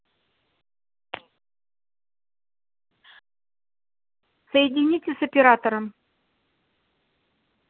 соедините с оператором